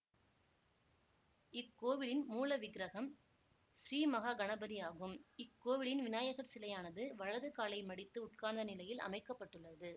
இக்கோவிலின் மூலவிக்ரகம் ஸ்ரீமகாகணபதி ஆகும் இக்கோவிலின் வினாயகர் சிலையானது வலது காலை மடித்து உட்கார்ந்த நிலையில் அமைக்க பட்டுள்ளது